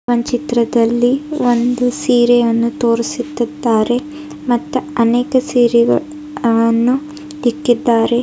One ಚಿತ್ರದಲ್ಲಿ ಒಂದು ಸೀರೆಯನ್ನು ತೋರಿಸುತ್ತಿದ್ದಾರೆ ಮತ್ತ ಅನೇಕ ಸೀರೆಗಳನ್ನು ಇಕ್ಕಿದ್ದಾರೆ.